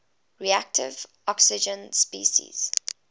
reactive oxygen species